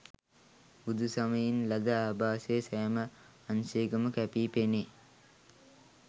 බුදුසමයෙන් ලද ආභාසය සෑම අංශයකම කැපී පෙනේ.